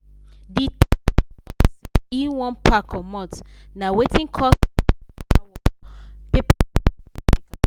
the ten ant talk say e wan pack comot na wetin cos plenty paper work paper work for caretaker.